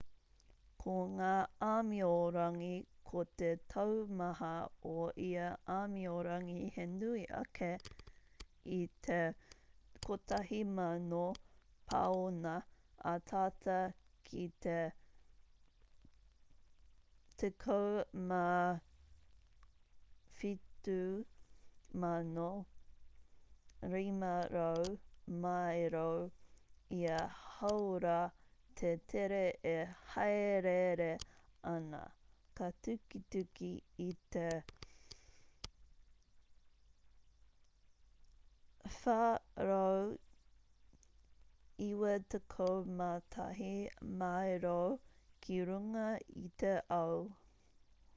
ko ngā āmiorangi ko te taumaha o ia āmiorangi he nui ake i te 1,000 pauna ā tata ki te 17,500 māero ia hāora te tere e hāereere ana ka tukituki i te 491 māero ki runga i te ao